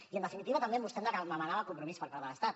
i en definitiva també vostè em demanava compromís per part de l’estat